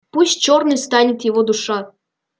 пусть чёрной станет его душа